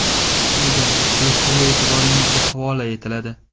Quyida surishtiruv e’tiboringizga havola etiladi.